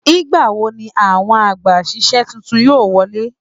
Nigbawo ní àwọn àgbàsísẹ̀ títún yóò wọlé!